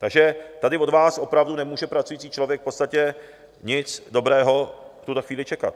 Takže tady od vás opravdu nemůže pracující člověk v podstatě nic dobrého v tuhle chvíli čekat.